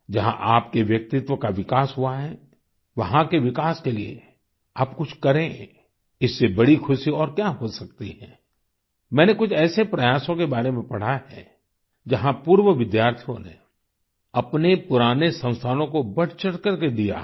जहाँ आपके व्यक्तित्व का विकास हुआ है वहाँ के विकास के लिए आप कुछ करें इससे बड़ी खुशी और क्या हो सकती है मैंने कुछ ऐसे प्रयासों के बारे में पढ़ा है जहाँ पूर्व विद्यार्थियों ने अपने पुराने संस्थानों को बढ़चढ़ करके दिया है